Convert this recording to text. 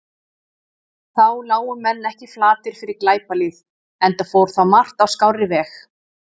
Þá lágu menn ekki flatir fyrir glæpalýð, enda fór þá margt á skárri veg.